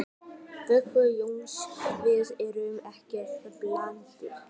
Viggó Jónsson: Þið eruð ekkert blautir?